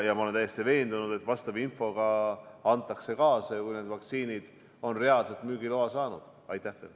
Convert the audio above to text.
Ma olen täiesti veendunud, et vastav info antakse kaasa, kui need vaktsiinid on reaalselt saanud müügiloa.